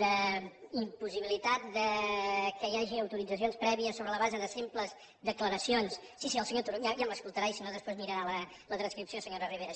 d’impossibilitat que hi hagi autoritzacions prèvies sobre la base de simples declaracions ja m’escoltarà i si no després mirarà la transcripció senyora ribera